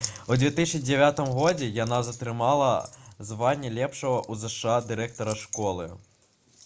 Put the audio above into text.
у 2009 годзе яна атрымала званне лепшага ў зша дырэктара школы